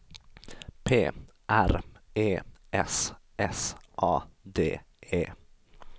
P R E S S A D E